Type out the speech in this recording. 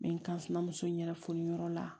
N bɛ n kansimamuso in yɛrɛ fununyɔrɔ la